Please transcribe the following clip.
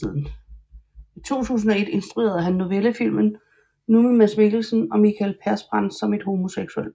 I 2002 instruerede han novellefilmen Nu med Mads Mikkelsen og Mikael Persbrandt som et homoseksuelt par